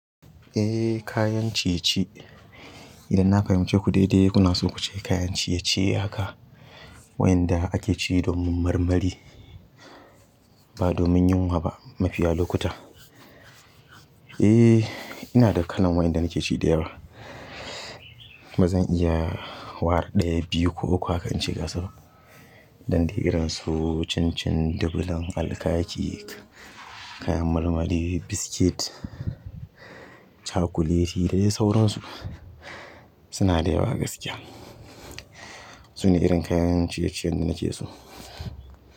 Eh kayan ciye-ciye, idan na fahimce ku daidai kuna so ku ce kayan ciye-ciye haka wayanda ake ci domin marmari ba domin yunwa ba mafiya lokuta. Eh ina da kalan wayanda nake ci da yawa. Ba zan iya ware ɗaya, biyu ko uku haka in ce ga su ba. Dan de irin su cin cin, dubulam, alkaki, kayan marmari, biscuit, chakuleti da dai sauransu suna da yawa gaskiya. Su ne irin kayan ciye-ciyen da na ke so.